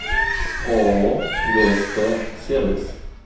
ооо гсп сервис